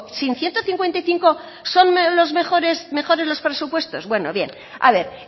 sin ciento cincuenta y cinco son mejores los presupuestos bueno bien a ver